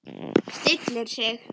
Stillir sig.